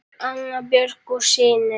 Jón, Anna Björk og synir.